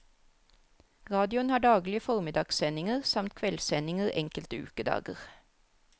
Radioen har daglige formiddagssendinger, samt kveldssendinger enkelte ukedager.